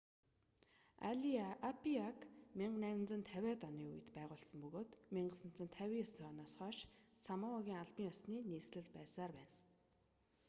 апиаг 1850-иад оны үед байгуулсан бөгөөд 1959 оноос хойш самоагийн албан ёсны нийслэл байсаар байна